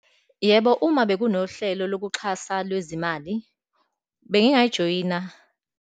Yebo, uma bekunohlelo lokuxhasa lwezimali, bengingayijoyina.